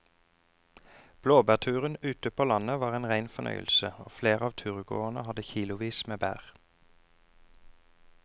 Blåbærturen ute på landet var en rein fornøyelse og flere av turgåerene hadde kilosvis med bær.